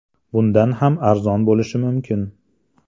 Bundan ham arzon bo‘lishi mumkin.